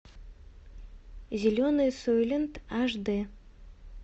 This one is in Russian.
зеленый сойлент аш дэ